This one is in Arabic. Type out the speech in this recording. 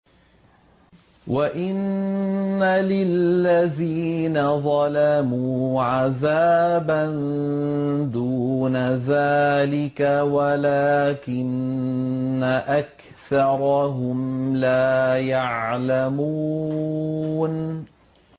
وَإِنَّ لِلَّذِينَ ظَلَمُوا عَذَابًا دُونَ ذَٰلِكَ وَلَٰكِنَّ أَكْثَرَهُمْ لَا يَعْلَمُونَ